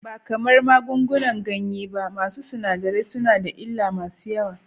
Ba kamar magungunan ganye ba, masu sinadarai suna da illa masu yawa.